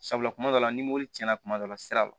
Sabula kuma dɔw la ni mobili cɛn na kuma dɔ la siraba la